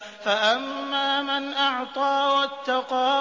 فَأَمَّا مَنْ أَعْطَىٰ وَاتَّقَىٰ